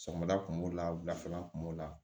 Sɔmɔda kun b'o la wulafɛla kun b'o la